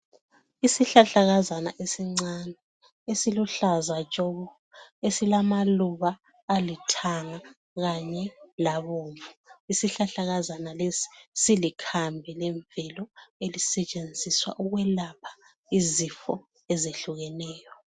Isihlahlakazana esincane esiluhlaza tshoko, esilamaluba aluthanga kanye labomvu. Isihlahlakazana lesi silikhambi lemvelo elisetshenziswa ukwelapha izifo ezehlukeneyo.